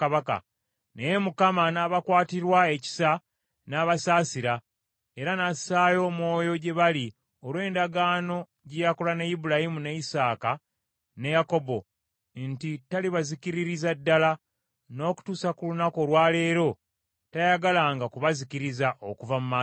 Naye Mukama n’abakwatirwa ekisa n’abasaasira, era n’assaayo omwoyo gye bali olw’endagaano gye yakola ne Ibulayimu, ne Isaaka ne Yakobo nti talibazikiririza ddala. N’okutuusa ku lunaku olwa leero tayagalanga kubazikiriza okuva mu maaso ge.